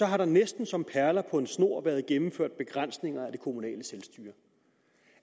har der næsten som perler på en snor været gennemført begrænsninger af det kommunale selvstyre